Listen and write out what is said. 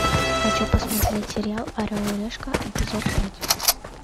хочу посмотреть сериал орел и решка эпизод пять